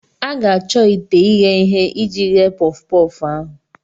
a ga-achọ ite ighe ihe iji ghee puffu-puffu ahụ.